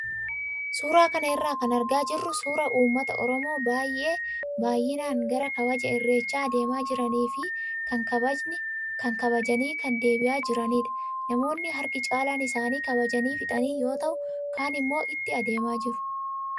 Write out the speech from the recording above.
Suuraa kana irraa kan argaa jirru suuraa uummata oromoo baay'ee baay'inaan gara kabaja irreechaa adeemaa jiranii fi kaan kabajanii kan deebi'aa jiranidha. Namoonni harki caalaan isaanii kabajanii fixanii yoo ta'u kaan immoo itti adeemaa jiru.